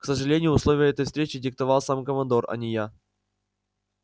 к сожалению условия этой встречи диктовал сам командор а не я